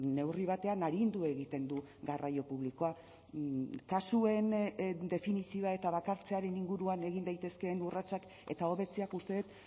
neurri batean arindu egiten du garraio publikoa kasuen definizioa eta bakartzearen inguruan egin daitezkeen urratsak eta hobetzeak uste dut